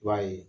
I b'a ye